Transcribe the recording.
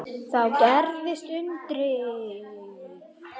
Þá gerðist undrið.